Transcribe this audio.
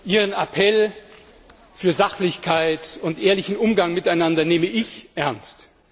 Ihren Appell für Sachlichkeit und ehrlichen Umgang miteinander nehme ich ernst.